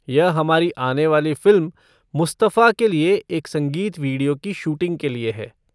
यह हमारी आने वाली फ़िल्म 'मुस्तफा' के लिए एक संगीत वीडियो की शूटिंग के लिए है।